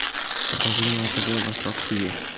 покажи мне на тв восток тв